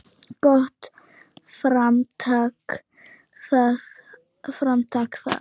Gott framtak það.